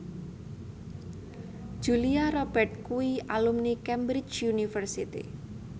Julia Robert kuwi alumni Cambridge University